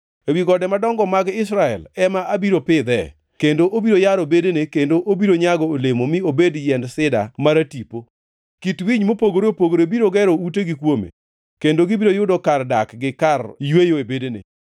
Ewi gode madongo mag Israel ema abiro pidhee, kendo obiro yaro bedene kendo obiro nyago olemo mi obed yiend sida maratipo. Kit winy mopogore opogore biro gero utegi kuome, kendo gibiro yudo kar dak gi kar yweyo e bedene.